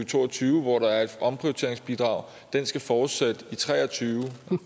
to og tyve hvor der er et omprioriteringsbidrag skal fortsætte i tre og tyve